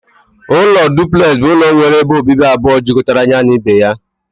Ụlọ duplex bụ ụlọ nwere ebe obibi abụọ ejikọtara ya na ibe ya.